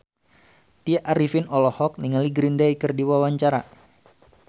Tya Arifin olohok ningali Green Day keur diwawancara